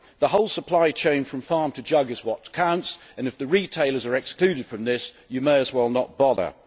The whole supply chain from farm to jug is what counts and if the retailers are excluded from this you may as well not bother.